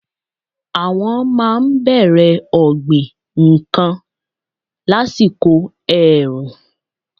Àwọn máa n bèrè ọ̀gbìn n kan lásìkò èrù- ùn